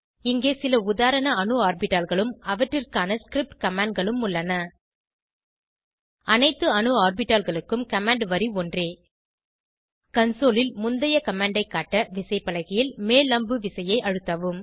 இங்கே சில உதாரண அணு ஆர்பிட்டால்களும் அவற்றிற்கான ஸ்கிரிப்ட் commandகளும் உள்ளன அனைத்து அணு ஆர்பிட்டால்களுக்கும் கமாண்ட் வரி ஒன்றே கன்சோல் ல் முந்தைய கமாண்ட் ஐ காட்ட விசைப்பலகையில் மேல் அம்பு விசையை அழுத்தவும்